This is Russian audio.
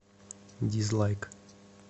дизлайк